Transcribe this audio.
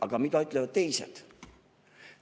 Aga mida ütlevad teised?